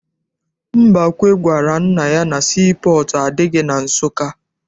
Mbakwe gwara nna ya na sii pọọtụ adịghị na Nsụka.